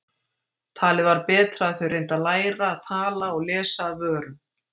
Talið var betra að þau reyndu að læra að tala og lesa af vörum.